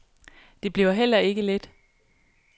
Det bliver heller ikke let.